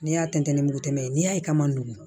N'i y'a tɛntɛn ni mugu tɛmɛ ye n'i y'a ye k'a ma nɔgɔn